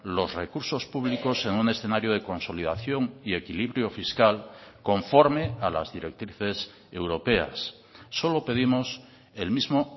los recursos públicos en un escenario de consolidación y equilibrio fiscal conforme a las directrices europeas solo pedimos el mismo